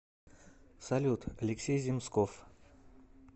салют алексей земсков